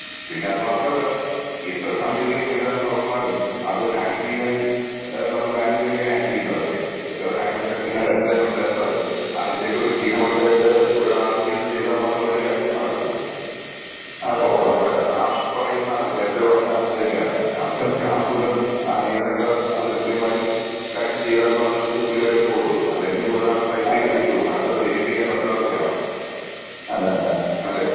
പിന്നെ അത് മാത്രമല്ല എത്ര സാങ്കേതിക സംവിധാനം വളർന്നാലും അത് ഹാൻഡിൽയ്യാൻ ഏഹ് നമ്മള് മാനുവൽ അല്ലേ ഹാൻഡിൽ ചെയ്യുന്നതൊക്കെ. എത്ര നോട്ട്‌ ക്ലിയർ ഈ സംവിധാനം ഉണ്ടായിരുന്നാലും അതിന്റെയൊക്കെ ഒരു കീ പോയിന്റ് ആയിട്ട് ഒരു ആൾ ഇരുന്ന് ചെയ്താൽ മാത്രമല്ലേ കാര്യങ്ങൾ നടക്കതോള്ളൂ. അപ്പോ അവിടെ ആ പറയുന്ന ആള് നേരത്തെ പറഞ്ഞ ഇതുതന്നെയാണ്. അതിന്റെ സ്റ്റാഫുകൾ ജീവനക്കാർ അത് കൃത്യമായി കാര്യം ചെയ്താൽ മാത്രമേ ഇത് ക്ലിയർ ആയിട്ട് പോവുത്തുള്ളൂ. അല്ലെങ്കിൽ ഇതൊരാൾ ടൈപ്പ് യ്ത് വിട്ടു അടുത്തത് വെരിഫൈ ചെയ്യാൻ മറ്റൊരാൾ വേണം. അല്ലെ?.